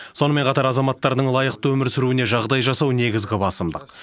сонымен қатар азаматтардың лайықты өмір сүруіне жағдай жасау негізгі басымдық